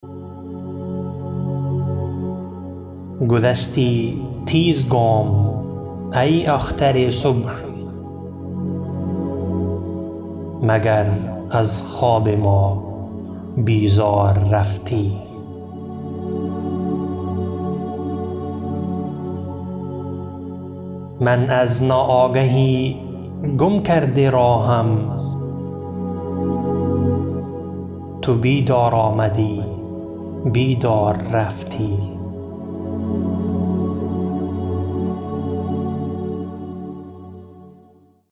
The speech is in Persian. گذشتی تیز گام ای اختر صبح مگر از خواب ما بیزار رفتی من از ناآگهی گم کرده راهم تو بیدار آمدی بیدار رفتی